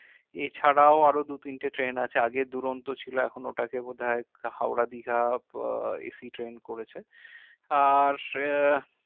এছাড়াও আরো দুতিনটে train আছে আগে দূরন্ত ছিল এখন ওটাকে বোধাই হাওড়া দীঘা আহ ইফি train করেছে আর আহ